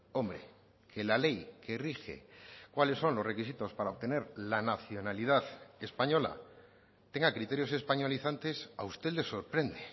hombre que la ley que rige cuáles son los requisitos para obtener la nacionalidad española tenga criterios españolizantes a usted le sorprende